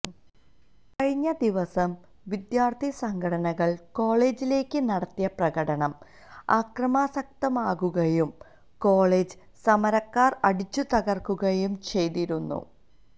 കഴിഞ്ഞ ദിവസം വിദ്യാര്ഥി സംഘടനകള് കോളേജിലേക്ക് നടത്തിയ പ്രകടനം ആക്രമാസക്തമാകുകയും കോളേജ് സമരക്കാര് അടിച്ചു തകര്ക്കുകയും ചെയ്തിരുന്നു